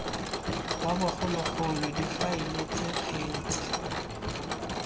wa bogologolo difaele ts kgetse